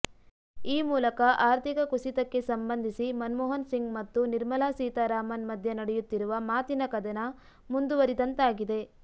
ಈ ಮೂಲಕ ಆರ್ಥಿಕ ಕುಸಿತಕ್ಕೆ ಸಂಬಂಧಿಸಿ ಮನಮೋಹನ ಸಿಂಗ್ ಮತ್ತು ನಿರ್ಮಲಾ ಸೀತಾರಾಮನ್ ಮಧ್ಯೆ ನಡೆಯುತ್ತಿರುವ ಮಾತಿನ ಕದನ ಮುಂದುವರಿದಂತಾಗಿದೆ